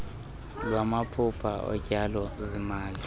lwamaphulo otyalo zimali